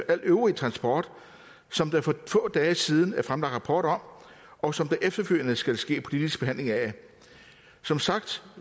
al øvrig transport som der for få dage siden er fremlagt rapport om og som der efterfølgende skal ske politisk behandling af som sagt